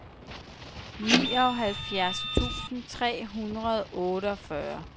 nioghalvfjerds tusind tre hundrede og otteogfyrre